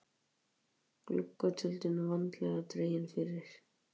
Gluggatjöldin vandlega dregin fyrir.